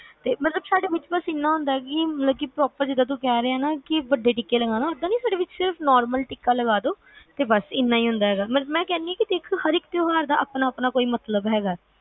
ਤੇ ਮਤਲਬ ਬਸ ਸਾਡੇ ਏਦਾ ਹੁੰਦਾ ਈ ਕੇ ਜਿੱਦਾਂ ਤੂੰ ਕਿਹ ਰਿਹਾ ਵੱਡੇ ਟਿੱਕੇ ਨਹੀਂ ਸਿਰਫ normal ਟਿੱਕਾ ਲਗਾਦੋ ਤੇ ਬਸ ਏਨਾ ਈ ਹੁੰਦਾ ਮੈਂ ਕਹਿਣੀ ਆ ਹਰ ਇੱਕ ਤਿਉਹਾਰ ਦਾ ਆਪਣਾ ਆਪਣਾ ਇੱਕ ਮਤਲਬ ਹੈਗਾ